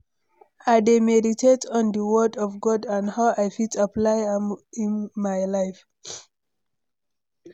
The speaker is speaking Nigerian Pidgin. i dey meditate on di word of God and how i fit apply am in my life.